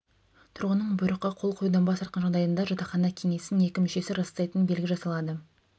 тұрғынның бұйрыққа қол қоюдан бас тартқан жағдайында жатақхана кеңесінің екі мүшесі растайтын белгі жасалады